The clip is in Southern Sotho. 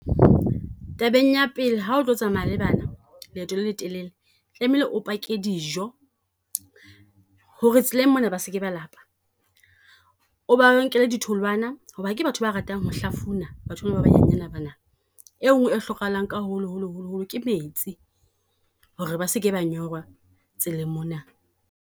Tabeng ya pele ha o tlo tsamaya le bana leeto le letelele, tlamehile o pake dijo, ho re tseleng mona ba se ke ba lapa. O ba nkele ditholwana, ho ba ke batho ba ratang ho hlafuna, batho ba ba ba nyenyana ba na. E nngwe e hlokahalang ka holo holo holo holo ke metsi, ho re ba se ke ba nyorwa tseleng mona.